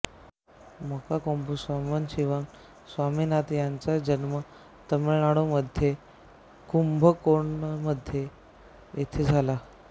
मोणकोंबू सांबशिवन स्वामीनाथन यांचा जन्म तमिळमाडूमध्ये कुंभकोणम येथे झाला